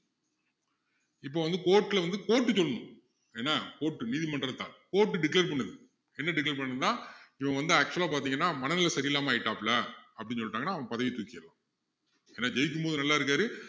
இப்போ வந்து court ல வந்து court சொல்லணும் என்ன court நீதிமன்றத்தார் court declare பண்ணுது என்ன declare பண்ணும்னா இவன் வந்து actual ஆ பாத்தீங்கன்னா மனநிலை சரியில்லாம ஆயிட்டாப்புல அப்படின்னு சொல்லிட்டாங்கன்னா அவர் பதவியை தூக்கிறலாம் ஏன்னா ஜெயிக்கும் போது நல்லா இருக்காரு